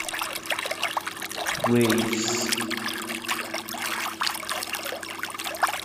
вейвс